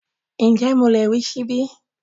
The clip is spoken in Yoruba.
Ǹjẹ́ mo lè rí ṣíbí?